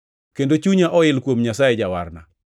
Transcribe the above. kendo chunya oil kuom Nyasaye Jawarna,